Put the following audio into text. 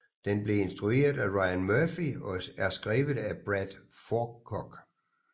Den blev instrueret af Ryan Murphy og er skrevet af Brad Falchuk